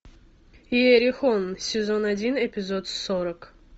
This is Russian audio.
иерихон сезон один эпизод сорок